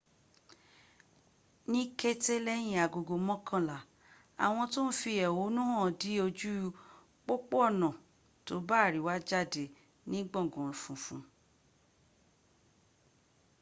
ní kété lẹ́yìn agogo mọ́kànlá àwọn tó ń fi èhónú hàn dí ojú pópónà ọ̀nà tóbá àríwá jádé ní gbòngàn funfun